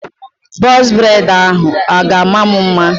Bọz breid ahụ a ga-ama m mma?